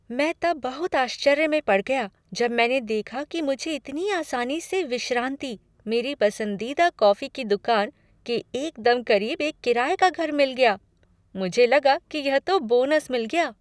मैं तब बहुत आश्चर्य में पड़ गया जब मैंने देखा कि मुझे इतनी आसानी से विश्रांति, मेरी पसंदीदा कॉफी की दुकान, के एकदम करीब एक किराये का घर मिल गया। मुझे लगा कि यह तो बोनस मिल गया!